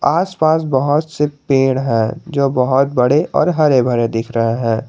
आसपास बहोत से पेड़ है जो बहोत बड़े और हरे भरे दिख रहे है।